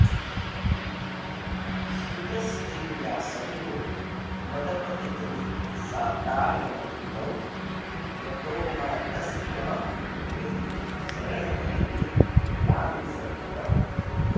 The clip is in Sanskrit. स्फुटस्ते व्यासङ्गो मदपतितनिस्तारणकृतौ प्रतोमातस्त्वां वै शरणपदवीं यामि सततम्